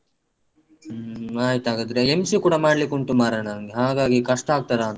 ಹ್ಮ್ ಆಯಿತಾಗದ್ರೆ MC ಕೂಡ ಮಾಡ್ಲಿಕ್ಕುಂಟು ಮಾರೆ ನನ್ಗೆ ಹಾಗಾಗಿ ಕಷ್ಟ ಆಗ್ತದಾಂತ